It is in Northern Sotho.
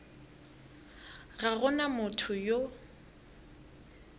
ga go na motho yo